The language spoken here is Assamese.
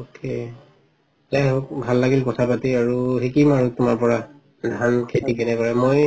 okay যাই হওঁক ভাল লাগিল কথা পাতি আৰু শিকিম আৰু তুমাৰ পৰা ধান খেতি কেনেকে কৰে মই,